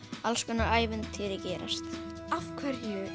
alls konar ævintýri gerast afhverju